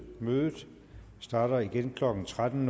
mødet starter igen klokken tretten